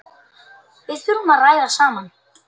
Við þurfum að ræða saman.